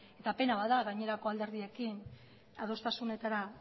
eta pena bat da gainerako alderdiekin adostasunetara